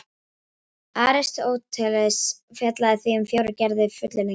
Aristóteles fjallaði því um fjórar gerðir fullyrðinga: